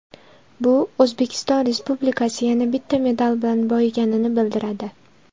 Bu O‘zbekiston delegatsiyasi yana bitta medal bilan boyiganini bildiradi.